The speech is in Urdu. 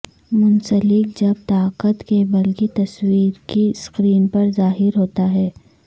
منسلک جب طاقت کیبل کی تصویر کی سکرین پر ظاہر ہوتا ہے